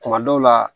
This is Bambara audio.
Kuma dɔw la